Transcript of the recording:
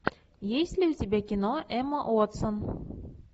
есть ли у тебя кино эмма уотсон